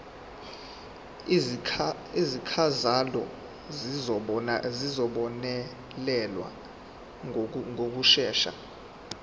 izikhalazo zizobonelelwa ngokushesha